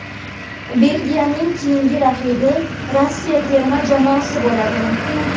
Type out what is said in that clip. Belgiyaning keyingi raqibi Rossiya terma jamoasi bo‘ladi.